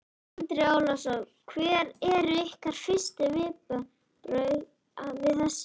Andri Ólafsson: Hver eru ykkar fyrstu viðbrögð við þessu?